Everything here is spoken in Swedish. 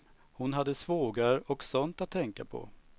Hon hade svågrar och sånt att tänka på.